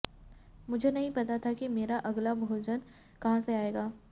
मुझे नहीं पता था कि मेरा अगला भोजन कहां से आएगा